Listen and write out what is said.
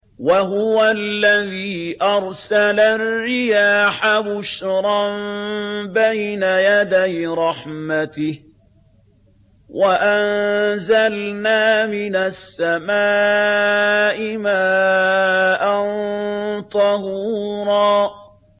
وَهُوَ الَّذِي أَرْسَلَ الرِّيَاحَ بُشْرًا بَيْنَ يَدَيْ رَحْمَتِهِ ۚ وَأَنزَلْنَا مِنَ السَّمَاءِ مَاءً طَهُورًا